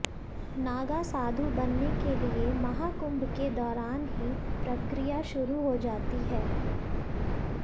नागा साधु बनने के लिए महाकुंभ के दौरान ही प्रक्रिया शुरू हो जाती है